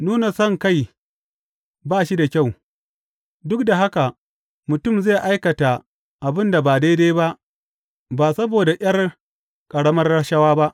Nuna sonkai ba shi da kyau, duk da haka mutum zai aikata abin da ba daidai ba saboda ’yar ƙaramar rashawa.